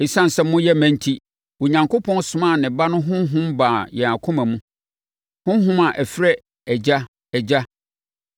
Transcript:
Esiane sɛ moyɛ mma enti, Onyankopɔn somaa ne Ba no Honhom baa yɛn akoma mu, Honhom a ɛfrɛ “Agya, Agya.”